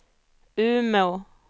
Umeå